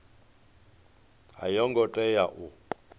a yo ngo tea u